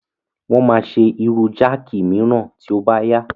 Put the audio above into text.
Wọ́n máa ṣe irú jáàkì mìíràn tí ó bá yá.